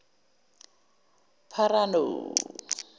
pharano